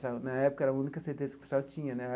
Na época era a única certeza que o pessoal tinha, né?